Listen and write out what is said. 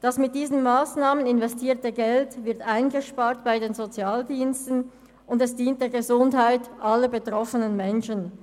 Das mit diesen Massnahmen investierte Geld wird bei den Sozialdiensten eingespart und dient der Gesundheit aller betroffenen Menschen.